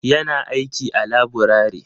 Ya na aiki a laburare.